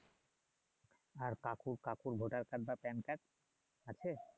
আর কাকু কাকুর voter card বা কার্ড আছে?